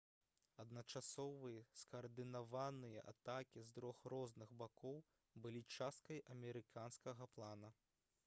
адначасовыя скаардынаваныя атакі з трох розных бакоў былі часткай амерыканскага плана